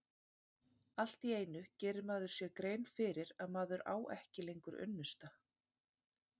Allt í einu gerir maður sér grein fyrir að maður á ekki lengur unnusta.